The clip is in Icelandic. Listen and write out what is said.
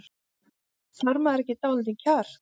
Þarf maður ekki dálítið kjark?